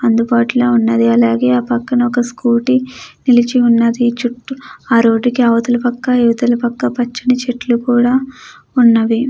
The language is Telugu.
అందుబాటులో ఉన్నవి అలాగే పక్కన ఒక స్కూటీ నిలిచి ఉన్నది చుట్టూ రోడ్డుకి అవతల వైపు పక్క కూడా మంచి చెట్లు కూడా ఉన్నవి.